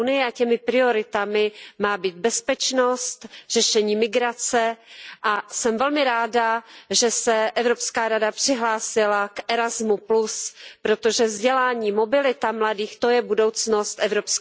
Těmi prioritami má být bezpečnost, řešení migrace a jsem velmi ráda, že se Evropská rada přihlásila k programu Erasmus, protože vzdělání, mobilita mladých, to je budoucnost EU.